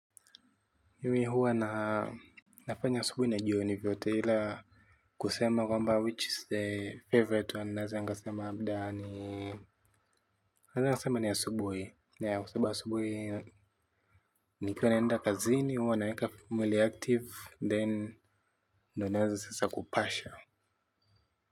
Mimi huwa na nafanya asubuhi na jioni vyote ila kusema kwamba which is the favorite one naeza nikasema labda naeza nikasema ni asubuhi na kwa sababu asubuhi nikiwa naenda kazini huwa naeka mwili active then. Ndio naeza sasa kupasha.